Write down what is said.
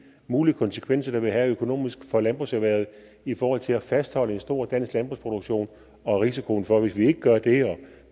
mulige konsekvenser det vil have økonomisk for landbrugserhvervet i forhold til at fastholde en stor dansk landbrugsproduktion og risikoen for hvis vi ikke gør det og